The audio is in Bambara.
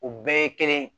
U bɛɛ ye kelen